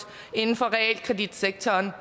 inden for realkreditsektoren